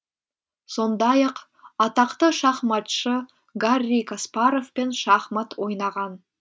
сондай ақ атақты шахматшы гарри каспаровпен шахмат ойнаған